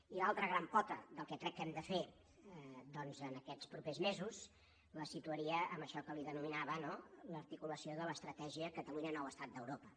i l’altra gran pota del que crec que hem de fer doncs aquests propers mesos la situaria en això que li denominava l’articulació de l’estratègia catalunya nou estat d’europa